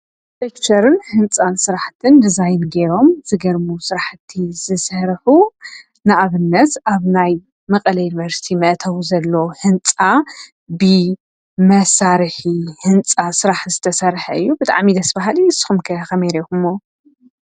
ኣርክትክቼርን ህንፃን ስራሕትን ድዛይን ገይሮም ዝገርሙ ስራሕቲ ዝስርሑ ንኣብነት ኣብ ናይ መቐለ ዩንቨርስቲ መእተዊ ዘሎ ህንፃ ብመሳርሒ ህንፃ ስራሕ ዝተሰርሐ እዩ ብጣዕሚ ደስ በሃሊ ንስኹም ከ ኸመይ ሪኢኹሞ?